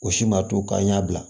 O si ma to k'an y'a bila